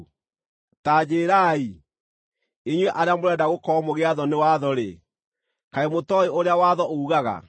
Ta njĩĩrai, inyuĩ arĩa mũrenda gũkorwo mũgĩathwo nĩ watho-rĩ, kaĩ mũtooĩ ũrĩa watho uugaga?